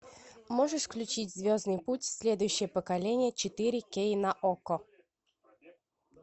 можешь включить звездный путь следующее поколение четыре кей на окко